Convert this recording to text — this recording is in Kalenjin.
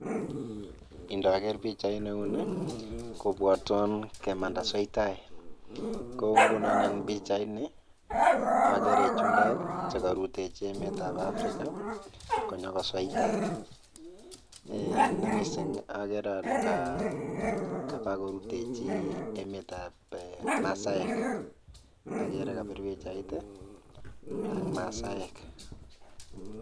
Indoker pichait neunii kobwotwon kemanda sweitai, Kou ngunon en pichainii okeree chumbek chekorutejii emet ab Africa konyokosweitat, nemising okeree olee kabakoruteji emetab masaek, akeree kobir pichait i ak masaek.